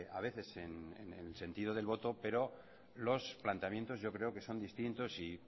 a veces en el sentido del voto pero los planteamientos yo creo que son distintos y